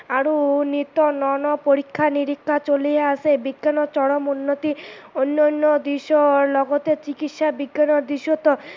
আৰু নিত্য ন ন পৰীক্ষা নিৰীক্ষা চলিয়েই আছে, বিজ্ঞানৰ চৰম উন্নতি উন্যয়ণৰ দিশৰ লগতে চিকিৎসা বিজ্ঞানৰ দিশতো